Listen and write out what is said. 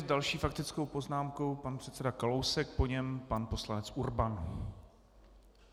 S další faktickou poznámkou pan předseda Kalousek, po něm pan poslanec Urban.